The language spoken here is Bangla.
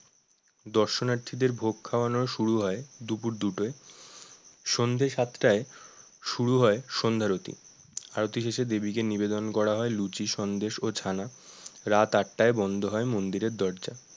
দর্শনার্থীদের ভোগ খাওয়ানো শুরু হয় দুপুর দুটোয় সন্ধে সাতটায় শুরু হয় সন্ধারতি আরতি দেবীকে নিবেদন করা হয় লুচি সন্দেশ ও ছানা রাত আটটায় বন্ধ হয় মন্দিরের দরজা